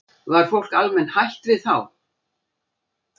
Var fólk almennt hrætt við þá?